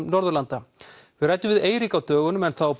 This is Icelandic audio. Norðurlanda við ræddum við Eirík á dögunum en þá